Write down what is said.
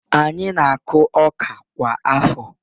Anyị na-akụ ọka kwa afọ